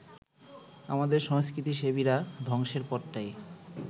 আমাদের সংস্কৃতিসেবীরা ধ্বংসের পথটাই